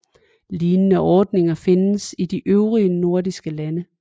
Lignende ordninger findes i de øvrige nordiske lande